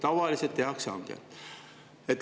Tavaliselt tehakse hange.